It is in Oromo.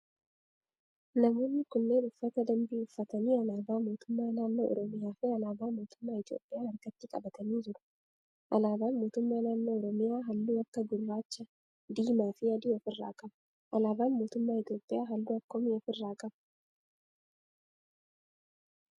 Namoonni kunneen uffata dambii uffatanii alaabaa mootummaa naannoo oromiyaa fi alaabaa mootummaa Itiyoophiyaa harkatti qabatanii jiru. Alaabaan mootummaa naannoo oromiyaa halluu akka gurraacha, diimaa fi adii of irraa qaba. Alaabaan mootummaa Itiyoophiyaa halluu akkamii of irraa qaba?